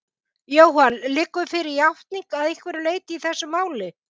Jóhann: Liggur fyrir játning að einhverju leyti í þessu máli?